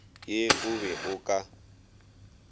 ye o be o ka